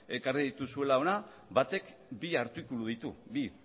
ekarri dituzuela hona batek bi artikulu ditu bi